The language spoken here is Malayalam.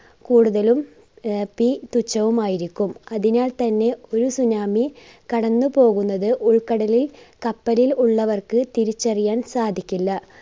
കൂടുതലും ആഹ് peak തുച്ഛവുമായിരിക്കും. അതിനാൽ തന്നെ ഒരു tsunami കടന്നുപോകുന്നത് ഉൾക്കടലിൽ കപ്പലിൽ ഉള്ളവർക്ക് തിരിച്ചറിയാൻ സാധിക്കില്ല.